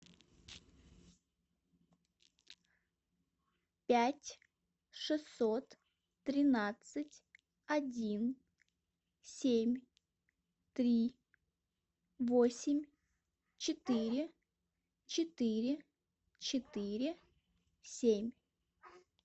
пять шестьсот тринадцать один семь три восемь четыре четыре четыре семь